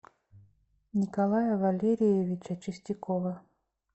николая валериевича чистякова